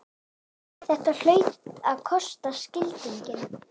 Þetta hlaut að kosta skildinginn!